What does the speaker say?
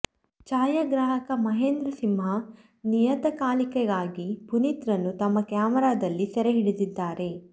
ಛಾಯಾಗ್ರಾಹಕ ಮಹೇಂದ್ರ ಸಿಂಹ ನಿಯತಕಾಲಿಕೆಗಾಗಿ ಪುನೀತ್ ರನ್ನು ತಮ್ಮ ಕ್ಯಾಮೆರಾದಲ್ಲಿ ಸೆರೆಹಿಡಿದಿದ್ದಾರೆ